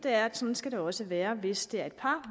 er at sådan skal det også være hvis det er et par